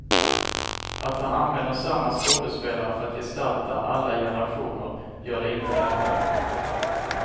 Att han använder samma skådespelare för att gestalta alla generationer rivaler gör det inte lättare.